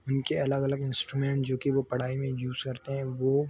इनके अलग अलग इंस्टूरेमेन्ट्स जो की वो पढाई में यूज़ करते हैवो--